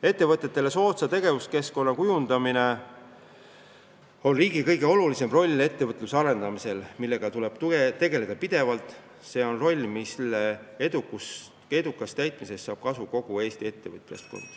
Ettevõtetele soodsa tegevuskeskkonna kujundamine on üks riigi kõige olulisemaid rolle, millega tuleb tegeleda pidevalt – see on roll, mille edukast täitmisest saab kasu kogu Eesti majandus.